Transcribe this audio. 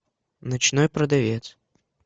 ночной продавец